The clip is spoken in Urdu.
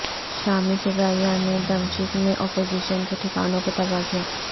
شامی فضائیہ نے دمشق میں اپوزیشن کے ٹھکانوں کو تباہ کیا